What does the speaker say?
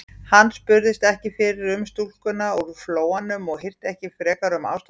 Hann spurðist ekki fyrir um stúlkuna úr Flóanum og hirti ekki frekar um ástarbréfið.